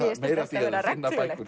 meira af því að finna bækur